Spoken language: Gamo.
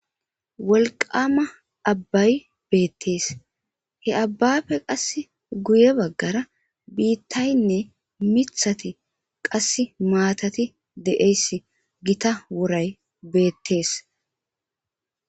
wolqama abbay beettees he abbafe qas guye baggara biittaynne mithati qass maatati de7eyss gita woray beettees